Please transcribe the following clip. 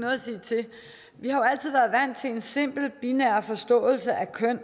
har jo altid været vant til en simpel binær forståelse af køn